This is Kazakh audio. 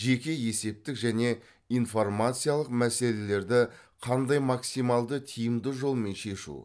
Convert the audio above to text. жеке есептік және информациялық мәселелерді қандай максималды тиімді жолмен шешу